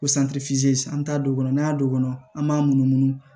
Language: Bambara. Ko an t'a don o kɔnɔ n'an y'a don an b'a munumunu